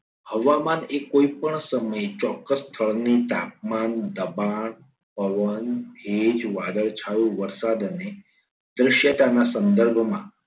હવામાન એ કોઈપણ સમયે ચોક્કસ સ્થળની તાપમાન દબાણ પવન ભેજ વાદળછાયુ વરસાદ અને દ્રશ્યતાના સંદર્ભમાં